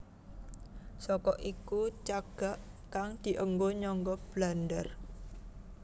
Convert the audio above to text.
Saka iku cagak kang dienggo nyangga blandar